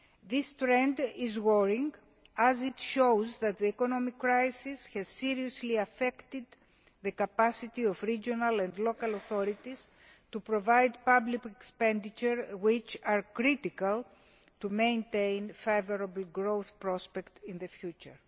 This trend is worrying as it shows that the economic crisis has seriously affected the capacity of regional and local authorities to provide public expenditure which is critical to maintaining favourable growth prospects in the future.